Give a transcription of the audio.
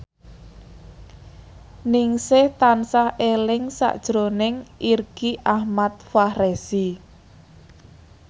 Ningsih tansah eling sakjroning Irgi Ahmad Fahrezi